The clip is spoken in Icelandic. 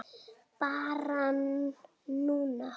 Barn núna.